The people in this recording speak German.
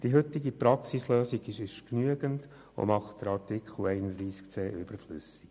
Die heutige Praxislösung ist genügend und macht Artikel 31c (neu) überflüssig.